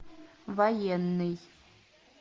военный